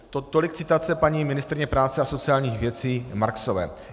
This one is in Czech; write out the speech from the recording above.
Tolik citace paní ministryně práce a sociálních věcí Marksové.